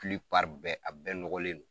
bɛɛ a bɛɛ nɔgɔlen do.